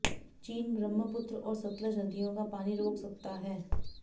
चीन ब्रह्मपुत्र और सतलज नदियों का पानी रोक सकता हैर